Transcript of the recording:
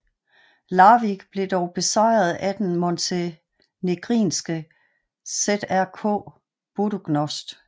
Larvik blev dog besejret af montenegrinske ŽRK Budućnost